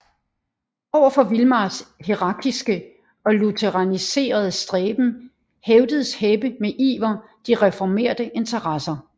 Over for Vilmars hierarkiske og lutheraniserende stræben hævdede Heppe med iver de reformerte interesser